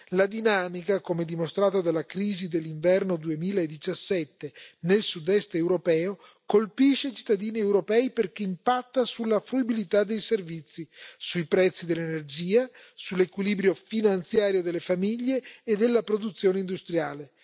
La dinamica, come dimostrato dalla crisi dell'inverno 2017 nel sud est europeo, colpisce i cittadini europei perché impatta sulla fruibilità dei servizi, sui prezzi dell'energia, sull'equilibrio finanziario delle famiglie e della produzione industriale.